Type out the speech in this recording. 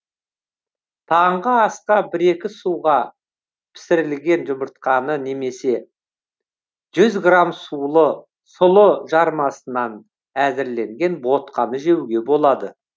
таңғы асқа бір екі суға пісірілген жұмыртқаны немесе жүз грамм сұлы жармасынан әзірленген ботқаны жеуге болады